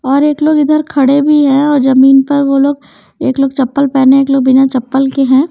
और एक लोग इधर खड़े भी हैं और जमीन पर वो लोग एक लोग चप्पल पहने एक लोग बिना चप्पल के हैं।